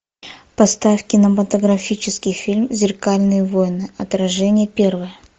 поставь кинематографический фильм зеркальные войны отражение первое